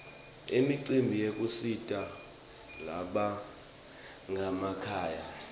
imicimbi yekusita labanganamakhaya